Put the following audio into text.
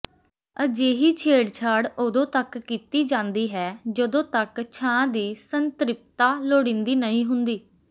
ਅਜਿਹੀ ਛੇੜਛਾੜ ਉਦੋਂ ਤੱਕ ਕੀਤੀ ਜਾਂਦੀ ਹੈ ਜਦੋਂ ਤੱਕ ਛਾਂ ਦੀ ਸੰਤ੍ਰਿਪਤਾ ਲੋੜੀਂਦੀ ਨਹੀਂ ਹੁੰਦੀ